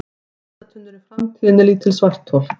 Verða ruslatunnur í framtíðinni lítil svarthol?